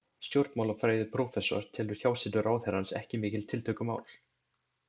Stjórnmálafræðiprófessor telur hjásetu ráðherrans ekki mikið tiltökumál.